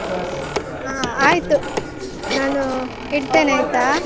ಹ ಆಯ್ತು. ನಾನು ಇಡ್ತೇನೆ ಆಯ್ತಾ? ನಾಡ್ದು ಸಿಗುವ.